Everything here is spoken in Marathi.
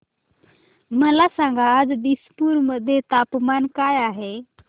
मला सांगा आज दिसपूर मध्ये तापमान काय आहे